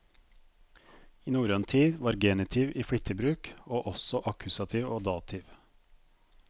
I norrøn tid var genitiv i flittig bruk, og også akkusativ og dativ.